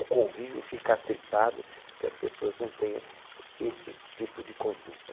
O convívio fica atritado porque as pessoas não têm esse tipo de conduta.